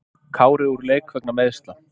Kári úr leik vegna meiðsla